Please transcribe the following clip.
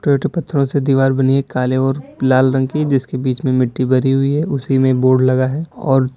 ईंटे पत्थरों से दीवार बनी है काले और लाल रंग की जिसके बीच में मिट्टी भरी हुई है उसी में बोड लगा है और--